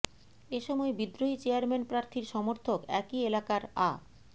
এ সময় বিদ্রোহী চেয়ারম্যান প্রার্থীর সমর্থক একই এলাকার আ